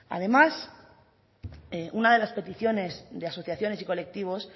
además una de las peticiones de asociaciones y colectivos